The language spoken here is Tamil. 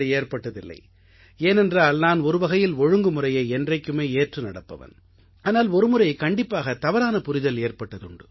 ஏற்பட்டதில்லை ஏனென்றால் நான் ஒருவகையில் ஒழுங்குமுறையை என்றைக்குமே ஏற்று நடப்பவன் ஆனால் ஒருமுறை கண்டிப்பாக தவறான புரிதல் ஏற்பட்டதுண்டு